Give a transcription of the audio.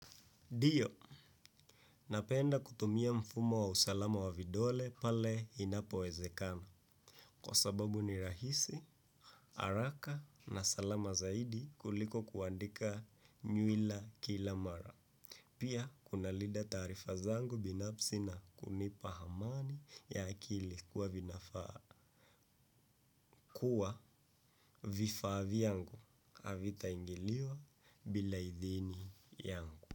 Ndiyo napenda kutumia mfumo wa usalama wa vidole pale inapowezekana. Kwa sababu ni rahisi, araka na salama zaidi kuliko kuandika nyuila kila mara. Pia, kuna lida tarifa zangu binapsi na kunipa hamani ya akili kuwa vinafaa. Kua, vifa viyangu avita ingiliwa bila idhini yangu.